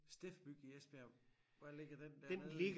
Steff-byg i Esbjerg hvor ligger den dernede?